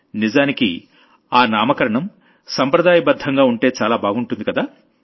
నిజానికి ఆ నామకరణం సంప్రదాయబద్ధంగా ఉంటే చాలా బాగుంటుంది కదా